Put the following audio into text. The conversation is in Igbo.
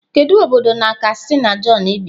Kedu obodo na kastina john bi?